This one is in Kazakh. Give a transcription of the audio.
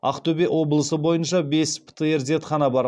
ақтөбе облысы бойынша бес птр зертхана бар